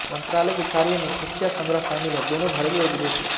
मंत्रालय के कार्यों में खुफिया संग्रह शामिल हैं दोनों घरेलू और विदेशी